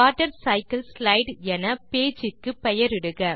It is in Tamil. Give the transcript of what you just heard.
வாட்டர்சைக்கிள்ஸ்லைடு என பேஜ் க்கு பெயரிடுக